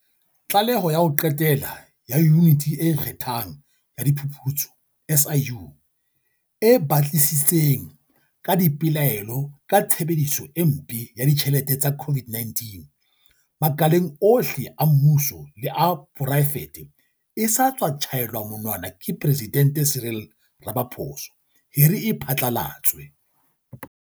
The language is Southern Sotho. Tlaleho ya ho qetela ya Yuniti e Ikgethang ya Diphuputso, SIU, e batlisitseng ka dipelaelo ka tshebediso e mpe ya ditjhelete tsa COVID-19, makaleng ohle a mmuso le a poraefete e sa tswa tjhaelwa monwana ke Presidente Cyril Ramaphosa hore e phatla latswe.